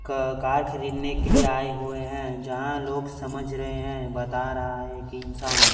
क कार खरीदने के लिए आए हुए हैं जहां लोग समझ रहे हैं बता रहा है एक इंसान।